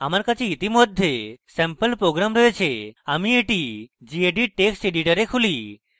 আমার কাছে ইতিমধ্যে স্যাম্পল program রয়েছে আমি এটি gedit text editor খুলি